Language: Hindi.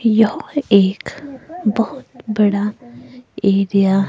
यह एक बहोत बड़ा एरिया --